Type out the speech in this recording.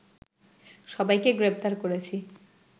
সবাইকে গ্রেপ্তার করেছি